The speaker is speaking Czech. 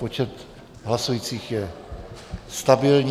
Počet hlasujících je stabilní.